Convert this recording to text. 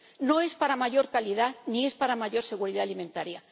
No es para mayor calidad ni es para mayor seguridad alimentaria.